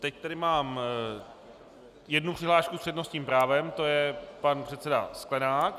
Teď tady mám jednu přihlášku s přednostním právem, to je pan předseda Sklenák.